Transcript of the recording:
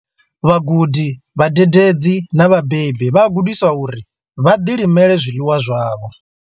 Vhagudi, vhadededzi na vhabebi vha a gudiswa uri vha ḓilimele zwiḽiwa zwavho.